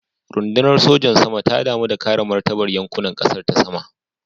Rundunar sojan sama ta damu da kare martabar yankunan kasar ta sama.